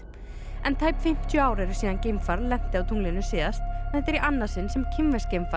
en tæp fimmtíu ár eru síðan geimfar lenti á tunglinu síðast þetta er í annað sinn sem kínverskt geimfar